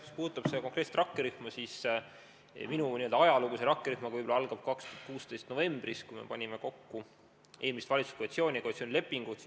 Mis puudutab konkreetset rakkerühma, siis minu n-ö ajalugu seoses selle rakkerühmaga algas 2016. aasta novembris, kui me panime kokku eelmist valitsuskoalitsiooni ja koalitsioonilepingut.